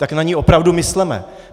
Tak na ni opravdu mysleme.